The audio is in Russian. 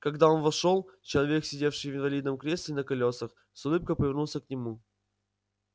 когда он вошёл человек сидевший в инвалидном кресле на колёсах с улыбкой повернулся к нему